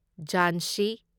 ꯓꯥꯟꯁꯤ